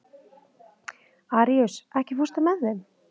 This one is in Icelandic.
Aríus, ekki fórstu með þeim?